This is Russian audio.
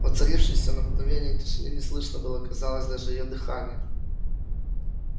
воцарившейся на мгновение тишине не слышно было казалось даже её дыхания